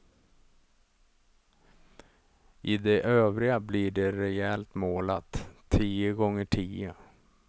I de övriga blir det rejält målat, tio gånger tio.